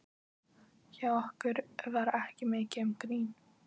Hjá okkur var ekki mikið um grín.